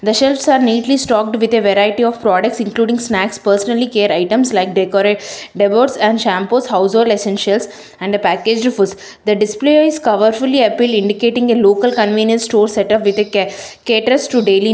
the shelves are neatly stocked with a variety of products including snacks personally care items like decore decors and shampoos household essentials and a packaged the display is cover fully appeal indicating a local convenience store setup with a ca caters to daily --